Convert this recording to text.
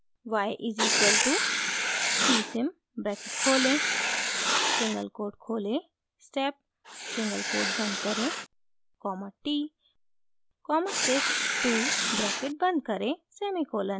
y is equal to c sim bracket खोलें single quote खोलें step single quote बंद करें comma t comma sys 2 bracket बंद करें सेमीकोलन